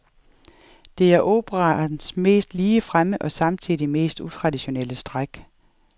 Det er operaens mest ligefremme og samtidig mest utraditionelle træk.